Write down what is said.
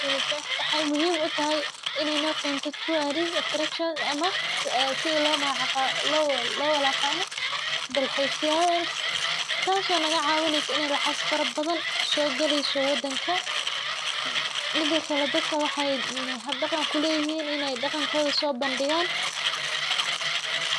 Wxay muhim u tahay inay nokento tourists attraction ama si lowalaqado dalxise ya sha, tas o nagacawineyso inay lacg farabadan so galeysa wadanka, midakale dadka wxay habdan kule yihin inay daqankoda so bandigan.